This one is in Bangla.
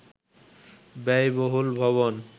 ব্যয়বহুল ভবন